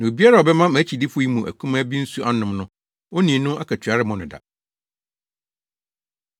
Na obiara a ɔbɛma mʼakyidifo yi mu akumaa bi nsu anom no, onii no akatua remmɔ no da.”